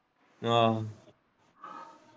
ਆਹੋ